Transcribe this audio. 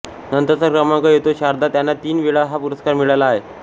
नंतरचा क्रमांक येतो शारदा ज्यांना तीन वेळा हा पुरस्कार मिळाला आहे